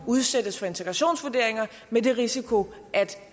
udsættes for integrationsvurderinger med den risiko at